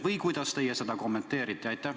Või kuidas teie seda kommenteerite?